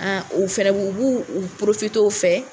u fɛrɛbɔ u b'u u fɛ